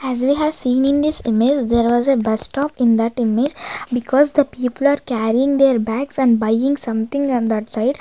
as we have seen in this image there was a bus stop in that image because the people are carrying their bags and buying something on that side.